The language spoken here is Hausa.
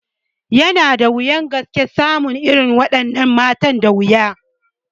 Yana da wuyan gaske samun irin wa ɗannan matan a yanzu